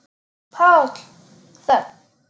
PÁLL: Þögn!